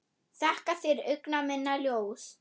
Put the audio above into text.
Þakka þér, augna minna ljós.